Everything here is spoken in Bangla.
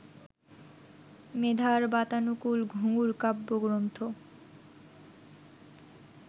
মেধার বাতানুকুল ঘুঙুর কাব্যগ্রন্থ